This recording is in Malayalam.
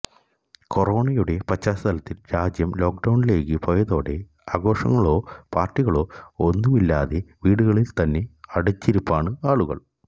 കൊറോണയുടെ പശ്ചാത്തലത്തിൽ രാജ്യം ലോക്ഡൌണിലേക്ക് പോയതോടെ ആഘോഷങ്ങളോ പാർട്ടികളോ ഒന്നുമില്ലാതെ വീടുകളിൽ തന്നെ അടച്ചിരിപ്പാണ് ആളുകൾ